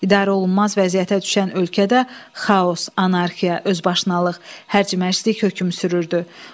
İdarə olunmaz vəziyyətə düşən ölkədə xaos, anarxiya, özbaşınalıq, hərcmərclik hökm sürürdü.